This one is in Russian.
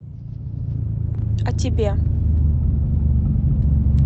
а тебе